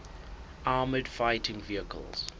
armoured fighting vehicles